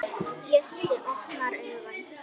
Bjössi opnar augun.